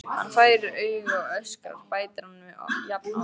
Hann fær augu og öskrar, bætir hann við jafn oft.